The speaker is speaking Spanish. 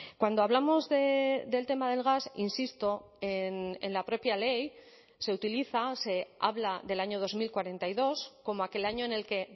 cuando hablamos del tema del gas insisto en la propia ley se utiliza se habla del año dos mil cuarenta y dos como aquel año en el que